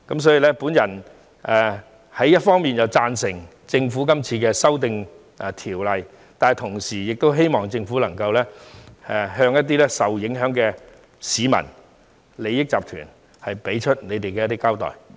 所以，我一方面贊成政府今次修訂有關條例，但同時希望政府能夠向一些受影響的市民和利益集團作出交代。